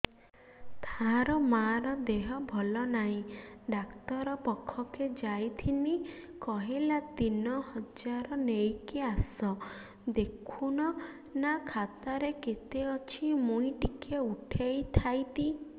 ତାର ମାର ଦେହେ ଭଲ ନାଇଁ ଡାକ୍ତର ପଖକେ ଯାଈଥିନି କହିଲା ତିନ ହଜାର ନେଇକି ଆସ ଦେଖୁନ ନା ଖାତାରେ କେତେ ଅଛି ମୁଇଁ ଟିକେ ଉଠେଇ ଥାଇତି